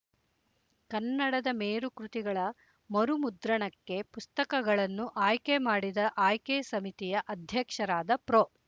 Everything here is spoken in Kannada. ಕನ್ನಡದ ಮೇರುಕೃತಿಗಳ ಮರುಮುದ್ರಣಕ್ಕೆ ಪುಸ್ತಕಗಳನ್ನು ಆಯ್ಕೆ ಮಾಡಿದ ಆಯ್ಕೆ ಸಮಿತಿಯ ಅಧ್ಯಕ್ಷರಾದ ಪ್ರೊ